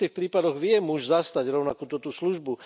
V istých prípadoch vie muž zastať rovnako túto službu.